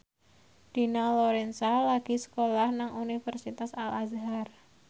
Dina Lorenza lagi sekolah nang Universitas Al Azhar